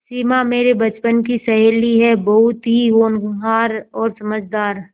सिमा मेरे बचपन की सहेली है बहुत ही होनहार और समझदार